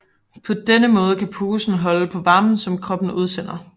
På den måde kan posen holde på varmen som kroppen udsender